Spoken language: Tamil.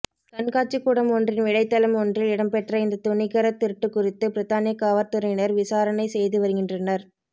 கண்காட்சிக்கூடம் ஒன்றின் வேலைத்தளம் ஒன்றில் இடம்பெற்ற இந்த துணிகரத் திருட்டுக்குறித்து பிரித்தானிய காவற்துறையினர் விசாரணைசெய்துவருகின்றனர்